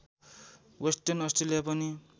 western Australia पनि